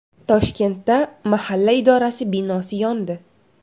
Toshkentda mahalla idorasi binosi yondi .